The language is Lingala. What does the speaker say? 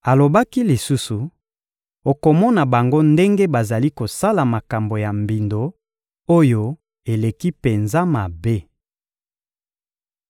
Alobaki lisusu: «Okomona bango ndenge bazali kosala makambo ya mbindo oyo eleki penza mabe.»